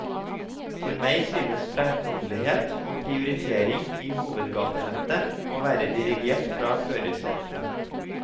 For meg synes fremkommelighet og prioritering i hovedgatenettet å være dirigert fra førersetene.